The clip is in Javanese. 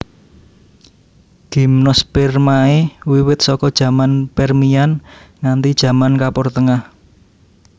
Gimnospermae wiwit saka jaman Permian nganti jaman Kapur Tengah